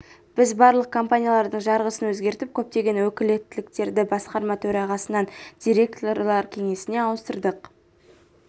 біз барлық компаниялардың жарғысын өзгертіп көптеген өкілеттіктерді басқарма төрағасынан директорлар кеңесіне ауыстырдық